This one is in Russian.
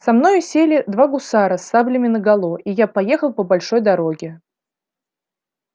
со мною сели два гусара с саблями наголо и я поехал по большой дороге